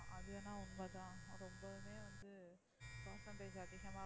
அது என்னமோ உண்மை தான் அது வந்து percentage